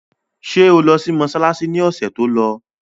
Ṣé o lọ sí mọsálásí ni ọ̀sẹ̀ tó lọ?